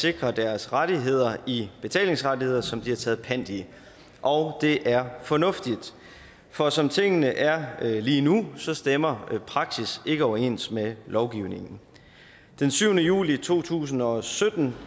sikre deres rettigheder i betalingsrettigheder som de har taget pant i og det er fornuftigt for som tingene er lige nu stemmer praksis ikke overens med lovgivningen den syvende juli to tusind og sytten